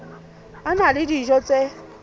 a na le dijo tse